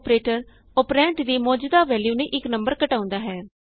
operator operand ਦੀ ਮੌਜੂਦਾ value ਨੂੰ ਇਕ ਨੰਬਰ ਘਟਾਉਂਦਾ ਹੈ